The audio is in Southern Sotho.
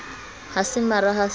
ha se mara ha se